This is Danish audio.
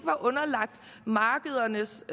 var underlagt markedernes